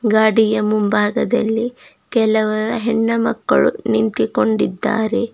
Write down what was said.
ಗಾಡಿಯ ಮುಂಭಾಗದಲ್ಲಿ ಕೆಲವರ ಹೆಣ್ಣುಮಕ್ಕಳು ನಿಂತುಕೊಂಡಿದ್ದಾರೆ.